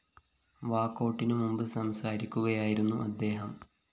വാക്കൗട്ടിനു മുമ്പ് സംസാരിക്കുകയായിരുന്നു അദ്ദേഹം